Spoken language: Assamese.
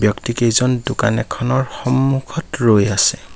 ব্যক্তি কেইজন দোকান এখনৰ সন্মুখত ৰৈ আছে।